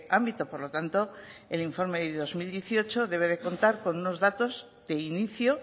ámbito por lo tanto el informe de dos mil dieciocho debe de contar con unos datos de inicio